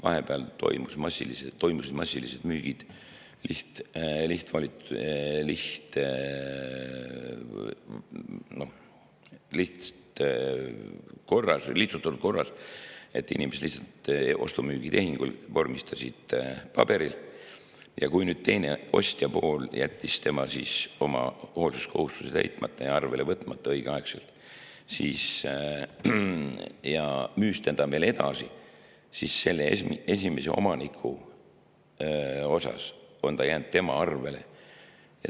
Vahepeal toimusid massilised müügid lihtsustatud korras, inimesed lihtsalt vormistasid ostu-müügitehingu paberil ja kui teine pool, ostja pool, jättis oma hoolsuskohustuse täitmata ja õigeaegselt arvele võtmata ja müüs selle veel edasi, siis on see jäänud esimese omaniku arvele.